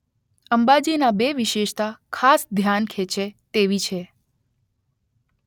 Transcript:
અંબાજીનાં બે વિશેષતા ખાસ ધ્યાન ખેંચે તેવી છે